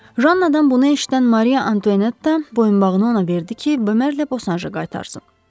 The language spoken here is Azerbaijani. Jannadan bunu eşidən Mariya Antonetta boyunbağını ona verdi ki, Bömerlə Bosanja qaytarsın.